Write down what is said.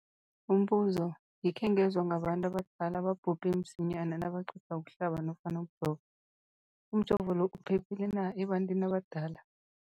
Umbuzo, ngikhe ngezwa ngabantu abadala ababhubhe msinyana nabaqeda ukuhlaba nofana ukujova. Umjovo lo uphephile na ebantwini abadala?